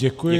Děkuji.